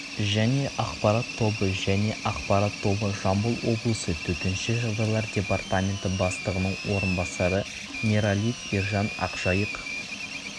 және ақпарат тобы және ақпарат тобы жамбыл облысы төтенше жағдайлар департаменті бастығының орынбасары мералиев ержан ақжайық